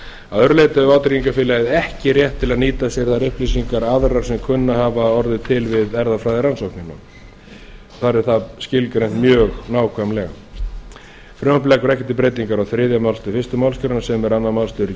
að öðru leyti hefur vátryggingafélagi ekki rétt til að nýta sér þær upplýsingar aðrar sem kunna að hafa orðið til við erfðafræðirannsóknina þar er það skilgreint mjög nákvæmlega frumvarpið leggur ekki til breytingar á þriðju málsgrein fyrstu grein sem er annar málsliður í